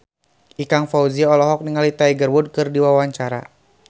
Ikang Fawzi olohok ningali Tiger Wood keur diwawancara